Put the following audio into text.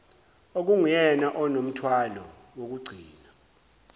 okunguyena onomthwalo wokugcina